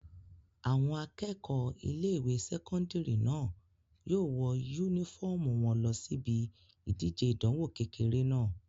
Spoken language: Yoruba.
Àwọn akẹ́kọ̀ọ́ ilé-ìwé sẹ́kọ́ndìrì náà yóò wọ yúnífọ́ọ̀mù wọn lọ síbi ìdíje ìdánwò kékeré náà